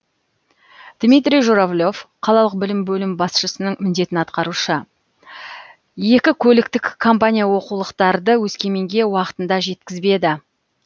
дмитрий журавлев қалалық білім бөлімі басшысының міндетін атқарушы екі көліктік компания оқулықтарды өскеменге уақытында жеткізбеді